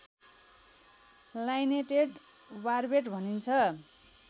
lineated barbet भनिन्छ